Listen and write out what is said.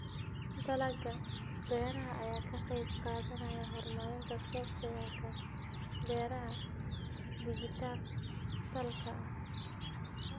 Dalagga beeraha ayaa ka qayb qaadanaya horumarinta software-ka beeraha dhijitaalka ah.